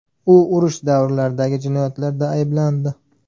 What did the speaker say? U urush davrlaridagi jinoyatlarda ayblandi.